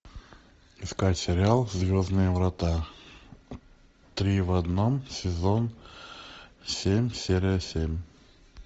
искать сериал звездные врата три в одном сезон семь серия семь